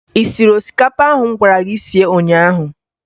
Ị siri osikapa ahụ m gwara gị sie ụnyaahụ?